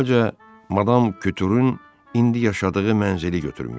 Əvvəlcə madam Kütürün indi yaşadığı mənzili götürmüşdü.